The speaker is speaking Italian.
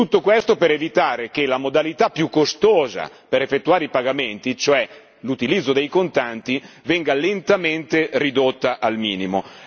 Tutto questo per evitare che la modalità più costosa per effettuare i pagamenti, cioè l'utilizzo dei contanti, venga lentamente ridotta al minimo.